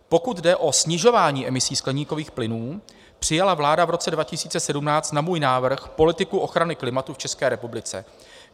Pokud jde o snižování emisí skleníkových plynů, přijala vláda v roce 2017 na můj návrh politiku ochrany klimatu v České republice.